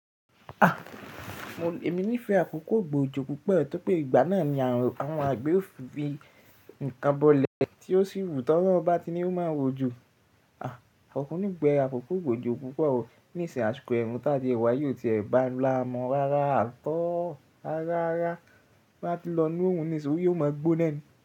À, èmi nífẹ̀ẹ́ àkókò ìgba ojo púpọ̀, torí pé ìgbà náà ni àwọn àgbè ò fi nǹkan bọlẹ̀ tí ó sì wù tó bá ti ní ó máa wo ojo. À, àkókò nígbà ìgba ojo púpọ̀ o, ní ìsìn àṣikọ ẹ̀rùn tí à ti ee wayi kóò ti ẹ̀ bá la mọ́ rárá, at all rara rara bá ti lọ ní òrun ni sin ori ee, ó máa gbóná ni.